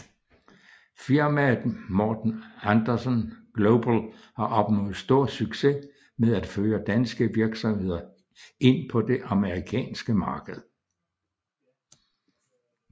Firmaet Morten Andersen Global har opnået stor succes med at føre danske virksomheder ind på det amerikanske marked